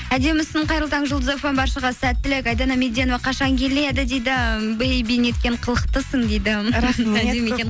әдемісің қайырлы таң жұлдыз фм баршаға сәттілік айдана меденова қашан келеді дейді неткен қылықтысың дейді